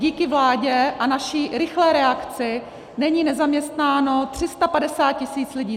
Díky vládě a naší rychlé reakci není nezaměstnáno 350 tisíc lidí.